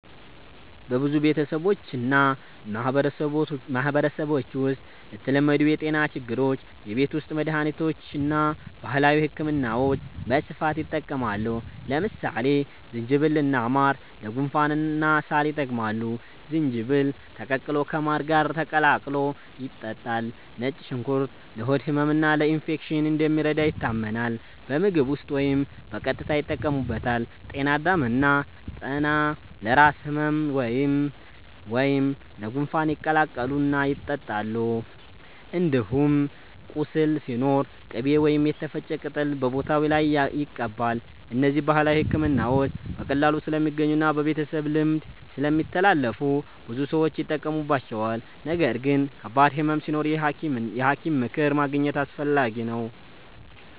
በብዙ ቤተሰቦችና ማህበረሰቦች ውስጥ ለተለመዱ የጤና ችግሮች የቤት ውስጥ መድሃኒቶችና ባህላዊ ሕክምናዎች በስፋት ይጠቀማሉ። ለምሳሌ ዝንጅብልና ማር ለጉንፋንና ሳል ይጠቅማሉ፤ ዝንጅብል ተቀቅሎ ከማር ጋር ተቀላቅሎ ይጠጣል። ነጭ ሽንኩርት ለሆድ ህመምና ለኢንፌክሽን እንደሚረዳ ይታመናል፤ በምግብ ውስጥ ወይም በቀጥታ ይጠቀሙበታል። ጤና አዳም እና ጠና ለራስ ህመም ወይም ለጉንፋን ይቀቀላሉ እና ይጠጣሉ። እንዲሁም ቁስል ሲኖር ቅቤ ወይም የተፈጨ ቅጠል በቦታው ላይ ይቀባል። እነዚህ ባህላዊ ሕክምናዎች በቀላሉ ስለሚገኙና በቤተሰብ ልምድ ስለሚተላለፉ ብዙ ሰዎች ይጠቀሙባቸዋል። ነገር ግን ከባድ ህመም ሲኖር የሐኪም ምክር ማግኘት አስፈላጊ ነው።